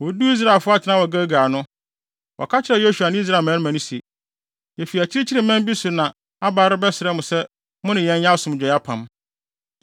Woduu Israelfo atenae wɔ Gilgal no, wɔka kyerɛɛ Yosua ne Israel mmarima no se, “Yefi akyirikyiri man bi so na aba rebɛsrɛ mo sɛ mo ne yɛn nyɛ asomdwoe apam.”